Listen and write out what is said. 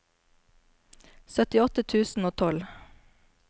syttiåtte tusen og tolv